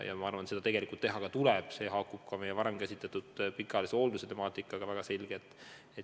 Ma arvan, et seda tuleb tõesti teha, see haakub ka meie varem käsitletud pikaajalise hoolduse temaatikaga väga selgelt.